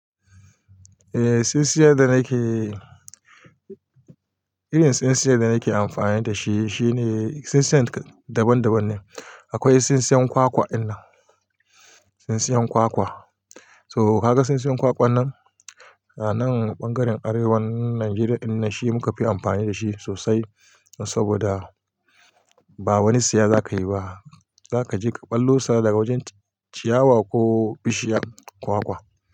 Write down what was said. Eh tsintsiyar da nake, irin tsintsiyar da nake amfani da shi shine tsintsiyar daban daban ne. Akwai tsintsiyar kwakwa inna, tsintsiyar kwakwa. So ka ga tsintsiyar kwakwan nan a nan ɓangaren Arewan Nijeriya inna shi muka fi amfani da shi sosai saboda ba wani siya zaka yi ba. Zaka je ka ɓallo sa daga wajen ciyawa ko bishiyar kwakwa.